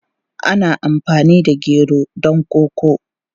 Ana amfani da gero don koko.